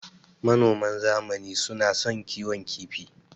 Manoman zamani suna son kiwon kifi.